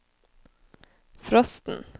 frosten